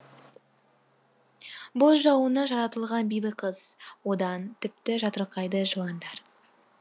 боз жауынна жаратылған бибі қыз одан тіпті жатырқайды жыландар